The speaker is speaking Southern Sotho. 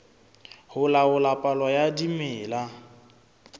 ho laola palo ya dimela